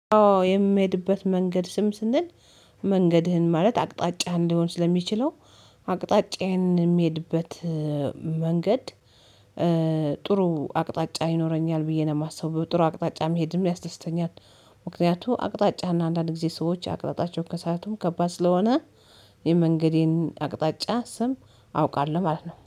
የምሄድበት መንገድ ስም ስንል መንገድህን ማለት አቅጣጫ እንደሆን ስለሚችለው አቅጣጫዬን የሚሄድበት መንገድ። ጥሩ አቅጣጫ ይኖረኛል ብዬ ነው የማስበው ጥሩ አቅጣጫ መሄድም ያስደስተኛል። ምክንያቱም አቅጣጫህ እና አንዳንድ ጊዜ ሰዎች አቅጣጫቸውን ከሰቱ ከባድ ስለሆነ የመንገዴን አቅጣጫ ስም አውቃለሁ ማለት ነው